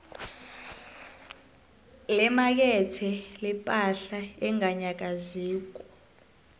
lemakethe lepahla enganyakaziko